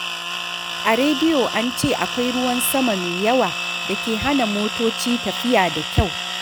A rediyo an ce akwai ruwan sama mai yawa da ke hana motoci tafiya da kyau.